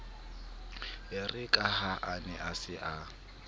erekaha a ne a sa